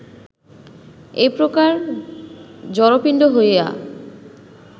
এই প্রকার জড়পিণ্ড হইয়া